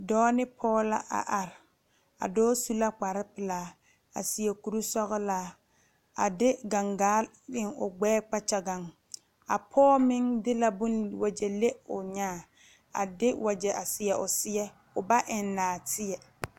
Dɔɔ ne pɔge la a are, a dɔɔ su la kpare pelaa a seɛ kuri sɔglaa a de gangaa eŋ o gbɛɛ kpakyagaŋ a poɔ meŋ de la wagye le o nyaa a de wagye seɛ o seɛ o ba eŋ naateɛ.